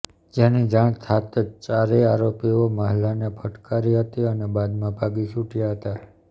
જેની જાણ થાતં જ ચારેય આરોપીઓ મહિલાને ફટકારી હતી અને બાદમાં ભાગી છૂટ્યા હતા